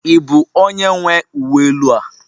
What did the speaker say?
Ị bụ onye nwe uwe elu a?